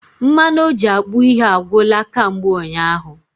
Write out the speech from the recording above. Mmanụ oji akpụ ihe agwụla kamgbe ụnyaahụ